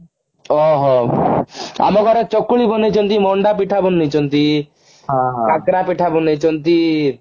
ଓ ହୋ ଆମ ଘରେ ଚକୁଳି ବନେଇଛନ୍ତି ମଣ୍ଡା ପିଠା ବନେଇଛନ୍ତି କାକରା ପିଠା ବନେଇଛନ୍ତି